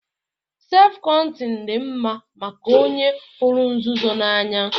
Sef kọnteñ dị mma maka onye hụrụ nzuzo n'anya